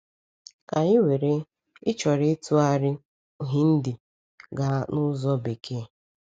Ka anyị were, i chọrọ ịtụgharị Hindi gaa n’ụzọ Bekee.